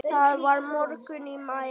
Það var morgunn í maí.